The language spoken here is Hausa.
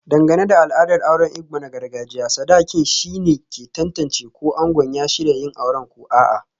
Dangane da al'adar auren Igbo na gargajiya, sadakin shine ke tantance ko ango ya shirya yin aure ko a'a.